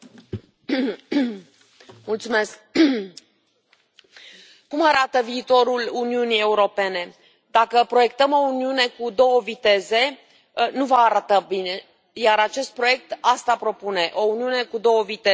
Domnule președinte, cum arată viitorul Uniunii Europene Dacă proiectăm o Uniune cu două viteze, nu va arata bine, iar acest proiect asta propune o Uniune cu două viteze.